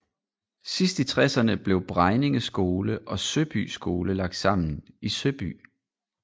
Sidst i tresserne blev Bregninge Skole og Søby Skole lagt sammen i Søby